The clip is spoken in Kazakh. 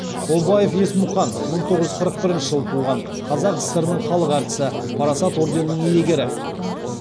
обаев есмұқан мың тоғыз жүз қырық бірінші жылы туған қазақ сср інің халық әртісі парасат орденінің иегері